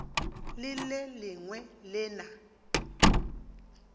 le le lengwe le na